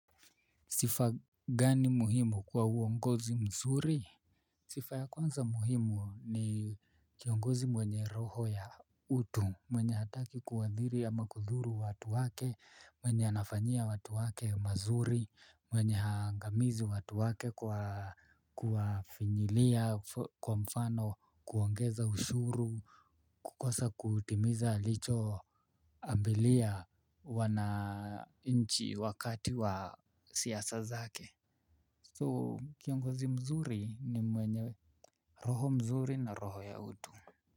Sifa gani muhimu kwa uongozi mzuri? Sifa ya kwanza muhimu ni kiongozi mwenye roho ya utu. Mwenye hataki kuadhiri ama kudhuru watu wake. Mwenye anafanyia watu wake mazuri. Mwenye haangamizi watu wake kwa kwa finyilia kwa mfano. Kuongeza ushuru kukosa kutimiza alicho ambilia huwa na nchi wakati wa siasa zake so kiongozi mzuri ni mwenye roho mzuri na roho ya utu.